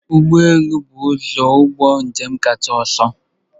Ụgbọ elu bụ ụzọ ụgbọ njem kacha ọsọ.